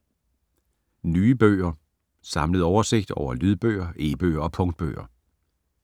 Nye bøger: Samlet oversigt over lydbøger, e-bøger og punktbøger